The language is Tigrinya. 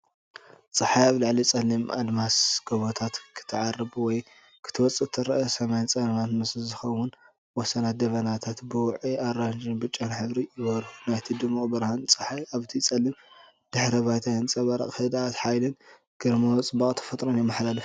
ጸሓይ ኣብ ልዕሊ ጸሊም ኣድማስ (ጎቦታት) ክትዓርብ ወይ ክትወጽእ ትርአ። ሰማይ ጸልማት ምስ ዝኸውን፡ ወሰናት ደበናታት ብውዑይ ኣራንሺን ብጫን ሕብሪ ይበርሁ። ናይቲ ድሙቕ ብርሃን ጸሓይ ኣብቲ ጸሊም ድሕረ ባይታ ይንጸባረቕ። ህድኣትን ሓይልን ግርማዊ ጽባቐ ተፈጥሮን የመሓላልፍ።